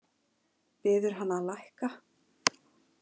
Biður hann að lækka.